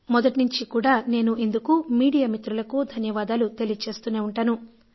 మొదటి నుంచి కూడా నేను ఇందుకు మీడియా మిత్రులకు ధన్యవాదాలు తెలియజేస్తూనే ఉంటాను